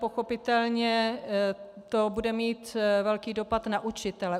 Pochopitelně to bude mít velký dopad na učitele.